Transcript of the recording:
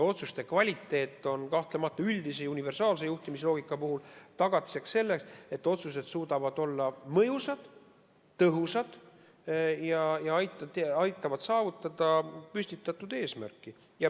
Otsuste kvaliteet on kahtlemata üldise, universaalse juhtimisloogika puhul tagatiseks sellele, et otsused suudavad olla mõjusad ja tõhusad ning aitavad saavutada püstitatud eesmärke.